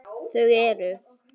Þau eru